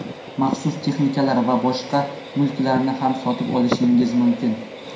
maxsus texnikalar va boshqa mulklarni ham sotib olishingiz mumkin.